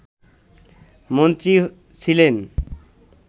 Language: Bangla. মন্ত্রী ছিলেন